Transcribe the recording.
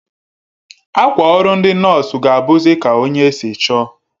Akwa ọrụ ndi nọọsụ ga abuzi Ka onye si chọọ